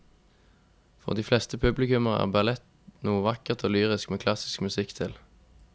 For de fleste publikummere er ballett noe vakkert og lyrisk med klassisk musikk til.